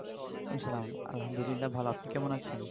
ওয়ালাইকুমুস সালাম আলহামদুলিল্লাহ ভালো আপনি কেমন আছেন?